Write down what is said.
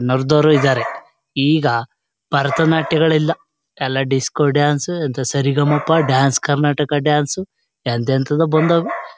ನುರಿದವರು ಇದಾರೆ ಈಗ ಭರತ ನಾಟ್ಯಗಳಿಲ್ಲಾ ಎಲ್ಲಾ ಡಿಸ್ಕೋ ಡ್ಯಾನ್ಸ್ ಎಂತ ಸರಿಗಮಪ ಡ್ಯಾನ್ಸ್ ಕರ್ನಾಟಕ ಡ್ಯಾನ್ಸ್ ಎಂತೆಂತದೋ ಬಂದಾವೇ.